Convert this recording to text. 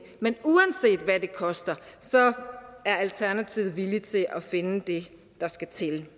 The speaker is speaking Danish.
men uanset hvad det koster er alternativet villige til at finde det der skal til